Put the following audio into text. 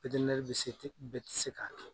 bɛ se, bɛ tɛ se ka kɛ.